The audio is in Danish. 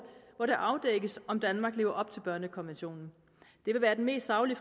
hvor det afdækkes om danmark lever op til børnekonventionen det vil være den mest saglige